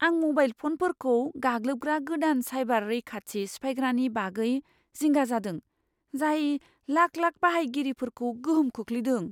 आं म'बाइल फ'नफोरखौ गाग्लोबग्रा गोदान साइबार रैखाथि सिफायग्रानि बागै जिंगा जादों, जाय लाख लाख बाहायगिरिफोरखौ गोहोम खोख्लैदों।